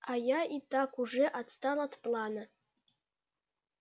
а я и так уже отстал от плана